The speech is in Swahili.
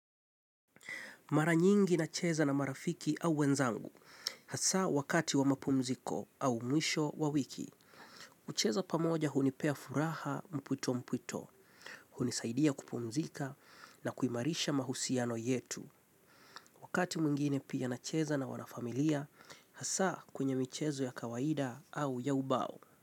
Mara nyingi nacheza na marafiki au wenzangu, hasa wakati wa mapumziko au mwisho wa wiki. Kucheza pamoja hunipea furaha mpwito mpwito, hunisaidia kupumzika na kuimarisha mahusiano yetu. Wakati mwingine pia nacheza na wana familia, hasa kwenye michezo ya kawaida au ya ubao.